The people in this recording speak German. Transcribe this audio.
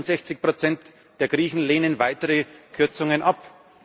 61 der Griechen lehnen weitere Kürzungen